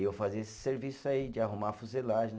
E eu fazia esse serviço aí, de arrumar a fuselagem né.